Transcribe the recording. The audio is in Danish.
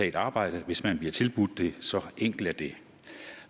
et arbejde hvis man bliver tilbudt det så enkelt er det